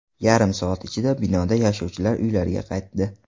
Yarim soat ichida binoda yashovchilar uylariga qaytdi.